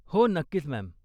हो, नक्कीच, मॅम.